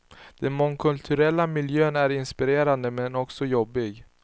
Den mångkulturella miljön är inspirerande, men också jobbig.